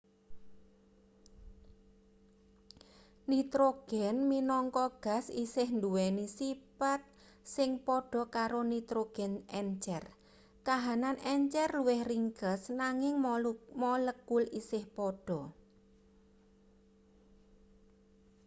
nitrogen minangka gas isih nduweni sipat sing padha karo nitrogen encer kahanan encer luwih ringkes nanging molekul isih padha